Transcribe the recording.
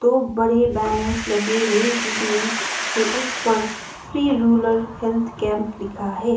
दो बड़े बैनर्स लगे हैं जिसमें से एक पर फ्री रुलर हेल्थ कैंप लिखा है।